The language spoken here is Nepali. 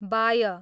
बाय